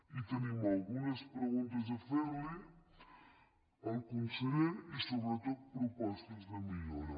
i tenim algunes preguntes a fer li al conseller i sobretot propostes de millora